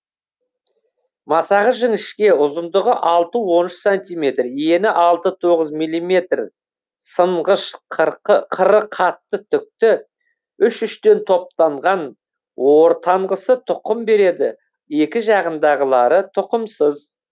масағы жіңішке ұзындығы алты он үш сантиметр ені алты тоғыз милиметр сынғыш қыры қатты түкті үш үштен топтанған ортанғысы тұқым береді екі жағындағылары тұқымсыз